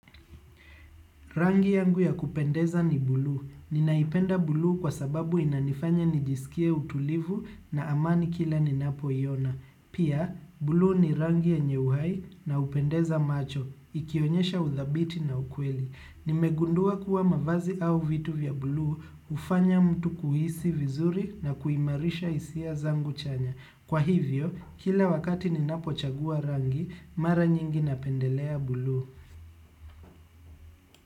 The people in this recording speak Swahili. Rangi yangu ya kupendeza ni blue. Ninaipenda blue kwa sababu inanifanya nijisikie utulivu na amani kila ninapo iona. Pia, blue ni rangi yenye uhai na upendeza macho, ikionyesha uthabiti na ukweli. Nimegundua kuwa mavazi au vitu vya blue, ufanya mtu kuhisi vizuri na kuimarisha isia zangu chanya. Kwa hivyo, kila wakati ninapo chagua rangi, mara nyingi napendelea blue.